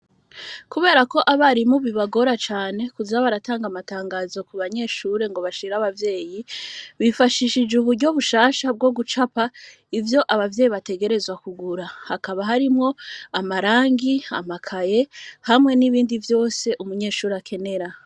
Kubera ko abari mubi bagora cane kuzaba aratanga amatangazo ku banyeshure ngo bashira abavyeyi bifashishije uburyo bushasha bwo gucapa ivyo abavyeyi bategerezwa kugura hakaba harimwo amarangi amakaye hamwe n'ibindi vyose umunyeshuri akenera.